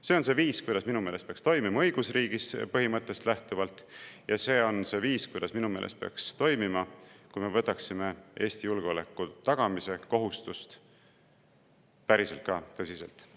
See on see viis, kuidas minu meelest peaks toimima õigusriigi põhimõttest lähtuvalt, ja see on see viis, kuidas minu meelest peaks toimima, kui me võtaksime Eesti julgeoleku tagamise kohustust ka päriselt tõsiselt.